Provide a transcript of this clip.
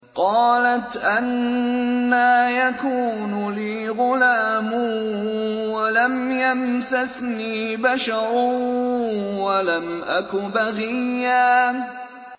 قَالَتْ أَنَّىٰ يَكُونُ لِي غُلَامٌ وَلَمْ يَمْسَسْنِي بَشَرٌ وَلَمْ أَكُ بَغِيًّا